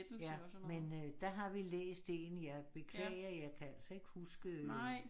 Ja men øh der har vi læst én ja beklager jeg kan altså ikke huske